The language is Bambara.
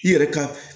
I yɛrɛ ka